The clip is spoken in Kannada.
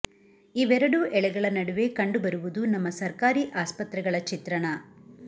ಇವೆರಡೂ ಎಳೆಗಳ ನಡುವೆ ಕಂಡು ಬರುವುದು ನಮ್ಮ ಸರ್ಕಾರಿ ಆಸ್ಪತ್ರೆಗಳ ಚಿತ್ರಣ